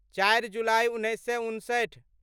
चारि जुलाइ उन्नैस सए उनसठि